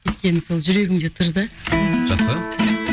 өйткені сол жүрегімде тұр да жақсы